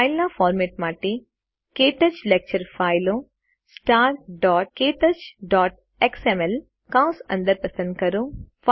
ફાઈલના format માટે ક્ટચ lecture ફાઈલો starktouchએક્સએમએલ કૌંસ અંદર પસંદ કરો